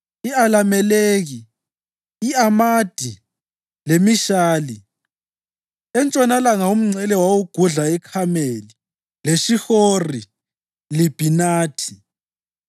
i-Alameleki, i-Amadi leMishali. Entshonalanga umngcele wagudla iKhameli leShihori-Libhinathi.